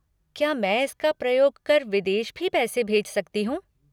क्या मैं इसका प्रयोग कर विदेश भी पैसे भेज सकती हूँ?